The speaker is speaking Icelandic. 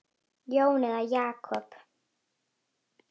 Jón eða Jakob?